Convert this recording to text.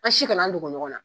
An si kana an dogo ɲɔgɔn na